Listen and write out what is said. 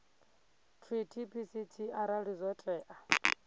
treaty pct arali zwo tea